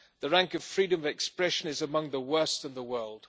its rank of freedom of expression is among the worst in the world.